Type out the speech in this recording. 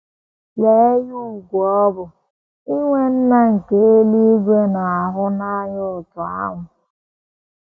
Lee ihe ùgwù ọ bụ inwe Nna nke eluigwe na - ahụ n’anya otú ahụ! ”